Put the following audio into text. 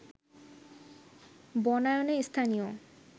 বনায়নে স্থানীয়